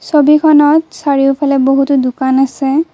ছবিখনত চাৰিওফালে বহুতো দোকান আছে।